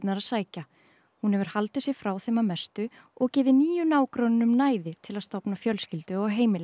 að sækja hún hefur haldið sig frá þeim að mestu og gefið nýju nágrönnunum næði til að stofna fjölskyldu og heimili